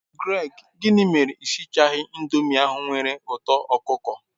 Greg, gini mere na I sighi indomi ahu nwere uto okuko